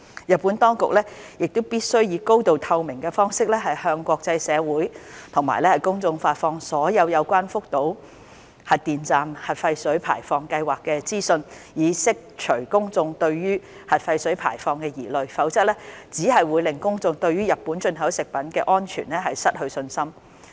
日本當局必須以高度透明的方式向國際社會及公眾發放所有有關福島核電站核廢水排放計劃的資訊，以釋除公眾對核廢水排放的疑慮，否則只會令公眾對日本進口食品的安全失去信心。